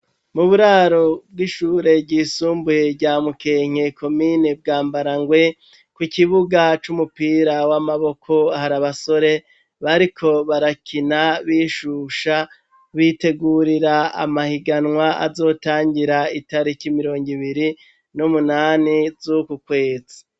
Mu buraro bw'ishure ryisumbuye rya mukenke komine Bwambarangwe ku kibuga c'umupira w'amaboko har' abasore bariko barakina bishusha bitegurira amahiganwa azotangira itariki mirong'ibiri n'umunani zuku kwezi.